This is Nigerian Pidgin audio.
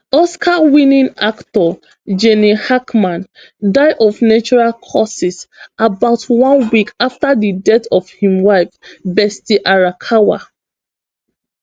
oscarwinning actor gene hackman die of natural causes about oneweek afta di death of im wife betsy arakawa